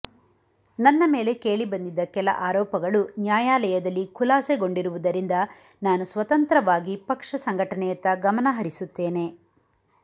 ನನ್ನ ಮೇಲೆ ಕೇಳಿಬಂದಿದ್ದ ಕೆಲ ಆರೋಪಗಳು ನ್ಯಾಯಾಲಯದಲ್ಲಿ ಖುಲಾಸೆಗೊಂಡಿರುವುದರಿಂದ ನಾನು ಸ್ವತಂತ್ರವಾಗಿ ಪಕ್ಷ ಸಂಘಟನೆಯತ್ತ ಗಮನ ಹರಿಸುತ್ತೇನೆ